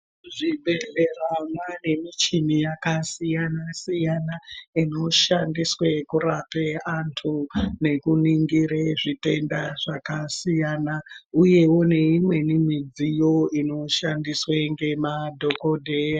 Muzvibhedhlera mwane muchini yakasiyana siyana inoshandiswa kurapa andu nekuningira zvitenda zvakasiyana uyewo neimweni midziyo inoshandiswe ngemadhokodheya.